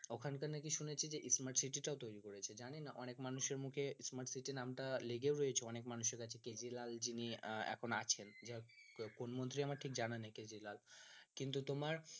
ওখান কার নাকি শুনেছি যে smart city টাও তৈরি করেছে জানিনা অনেক মানুষের মুখে smart city নাম তা লেগেও রয়েছে অনেক মানুষের কাছে কেজরিওয়াল জি নিয়ে এখন আছেন কোন মন্ত্রী আমার ঠিক জানা নেই কেজরিওয়াল কিন্তু তোমার